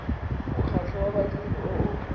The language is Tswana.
mokgatlho wa badiri o o